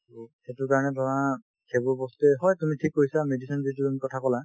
সেইটোৰ কাৰণে ধৰা সেইবোৰ বস্তুয়ে হয় তুমি ঠিক কৈছা medicine যিটো তুমি কথা কলা